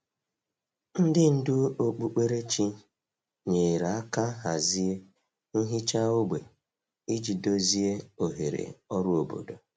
Ndị ndú okpukperechi nyere aka hazie nhicha ógbè iji dozie oghere ọrụ obodo.